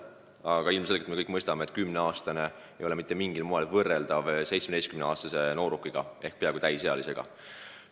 Aga ilmselgelt me kõik mõistame, et 10-aastane ei ole mitte mingil moel võrreldav 17-aastase noorukiga ehk peaaegu täisealisega.